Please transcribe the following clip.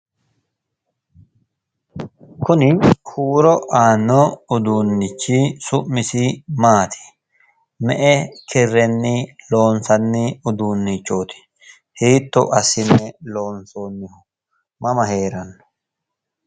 Kuni huuro aanno uduunnichi su'misi maati? me'e kirrenni loonsanni uduunnichooti? hiitto assine loonsoonni? mama heeranno?